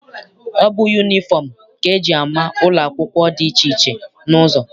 Ọ bụ yunifọm ka eji ama ụlọ akwụkwọ dị iche iche n'ụzọ.